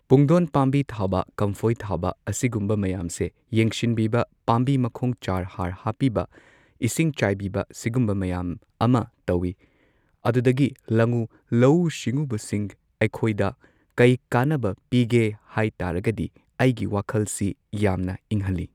ꯄꯨꯡꯗꯣꯟ ꯄꯥꯝꯕꯤ ꯊꯥꯕ ꯀꯝꯐꯣꯏ ꯊꯥꯕ ꯑꯁꯤꯒꯨꯝꯕ ꯃꯌꯥꯝꯁꯦ ꯌꯦꯡꯁꯤꯟꯕꯤꯕ ꯄꯥꯝꯕꯤ ꯃꯈꯣꯡ ꯆꯥꯔ ꯍꯥꯔ ꯍꯥꯞꯄꯤꯕ ꯏꯁꯤꯡ ꯆꯥꯏꯕꯤꯕ ꯁꯤꯒꯨꯝꯕ ꯃꯌꯥꯝ ꯑꯃ ꯇꯧꯢ ꯑꯗꯨꯗꯒꯤ ꯂꯉꯨ ꯂꯧꯎ ꯁꯤꯉꯨꯕꯁꯤꯡ ꯑꯩꯈꯣꯢꯗ ꯀꯩ ꯀꯥꯟꯅꯕ ꯄꯤꯒꯦ ꯍꯥꯏ ꯇꯥꯔꯒꯗꯤ ꯑꯩꯒꯤ ꯋꯥꯈꯜꯁꯤ ꯌꯥꯝꯅ ꯏꯪꯍꯜꯂꯤ꯫